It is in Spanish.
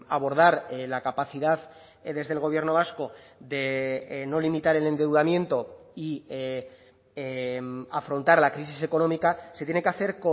abordar la capacidad desde el gobierno vasco de no limitar el endeudamiento y afrontar la crisis económica se tiene que hacer